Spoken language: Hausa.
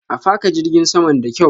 A faka jirgin saman da kyaw.